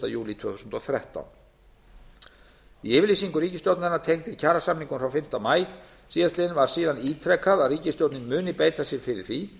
júlí tvö þúsund og þrettán í yfirlýsingu ríkisstjórnarinnar tengdri kjarasamningum frá fimmta maí síðastliðinn var síðan ítrekað að ríkisstjórnin mundi beita sér fyrir því